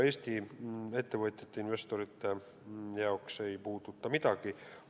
Eesti ettevõtjate ja investorite jaoks ei muutu midagi.